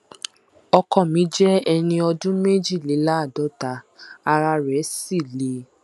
ọkọ mi jẹ ẹni ọdún méjìléláàádọta ara rẹ sì le